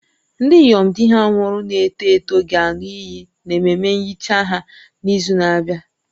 Ndị inyom di ha nwụrụ na-eto eto ga-aṅụ iyi n'ememe nhicha ha n'izu na-abịa